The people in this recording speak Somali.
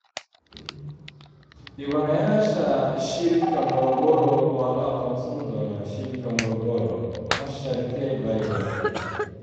Dhibbanayaasha shilka Morogoro waa la aqoonsan doonaa shilka Morogoro: Casharkee bay bartay?